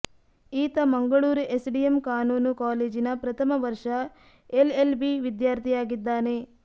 ಈತ ಮಂಗಳೂರು ಎಸ್ಡಿಎಂ ಕಾನೂನು ಕಾಲೇಜಿನ ಪ್ರಥಮ ವರ್ಷ ಎಲ್ಎಲ್ಬಿ ವಿದ್ಯಾರ್ಥಿ ಯಾಗಿದ್ದಾನೆ